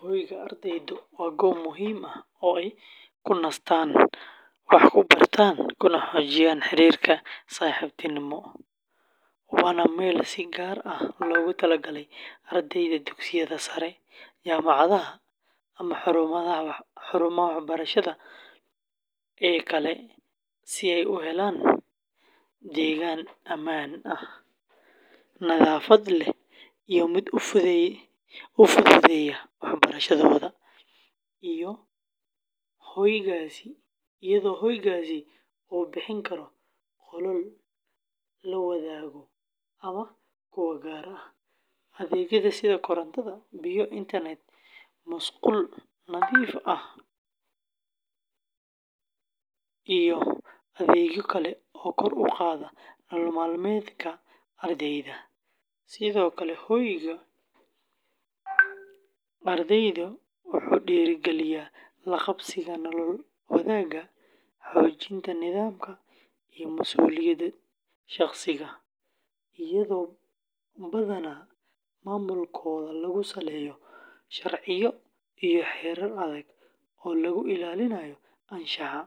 Hoyga ardaydu waa goob muhiim ah oo ay ku nastaan, ku bartaan, kuna xoojiyaan xiriirka saaxiibtinimo, waana meel si gaar ah loogu talagalay ardayda dugsiyada sare, jaamacadaha, ama xarumaha waxbarasho ee kale si ay u helaan deegaan ammaan ah, nadaafad leh, iyo mid u fududeeya waxbarashadooda, iyadoo hoygaasi uu bixin karo qolal la wadaago ama kuwo gaar ah, adeegyo sida koronto, biyo, internet, musqulo nadiif ah, iyo adeegyo kale oo kor u qaada nolol maalmeedka ardayda; sidoo kale, hoyga ardaydu wuxuu dhiirrigeliyaa la qabsiga nolol wadaagta, xoojinta nidaamka iyo mas'uuliyadda shaqsiga, iyadoo badanaa maamulkooda lagu saleeyo sharciyo iyo xeerar adag oo lagu ilaalinayo anshaxa,